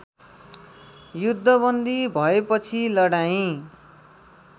युद्धबन्दी भएपछि लडाईँँ